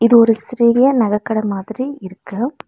ஒரு சிறிய நக கட மாதிரி இருக்கு.